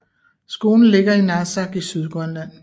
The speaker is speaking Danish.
Skolen ligger i Narsaq i Sydgrønland